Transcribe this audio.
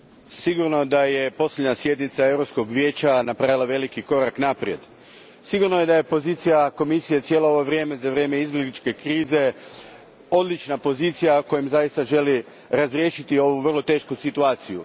Gospodine predsjedniče, sigurno je da je posljednja sjednica Europskog Vijeća napravila veliki korak naprijed. Sigurno je da je pozicija Komisije cijelo ovo vrijeme za vrijeme izbjegličke krize odlična pozicija kojom ona zaista želi razriješiti ovu vrlo tešku situaciju.